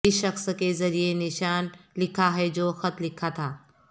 اس شخص کے ذریعہ نشان لکھا ہے جو خط لکھا تھا